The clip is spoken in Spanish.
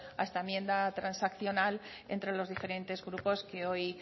a esta enmienda transaccional entre los diferentes grupos que hoy